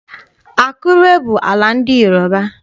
Akure bụ ala ndị Yoroba.